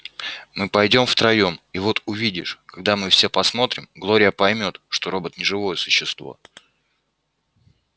мы пойдём втроём и вот увидишь когда мы всё посмотрим глория поймёт что робот не живое существо